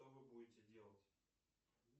что вы будете делать